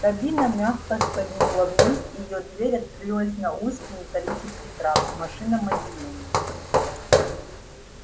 кабина мягко скользнула вниз и её дверь открылась на узкий металлический трап в машинном отделении